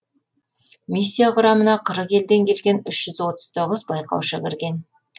миссия құрамына қырық елден келген үш жүз отыз тоғыз байқаушы кірген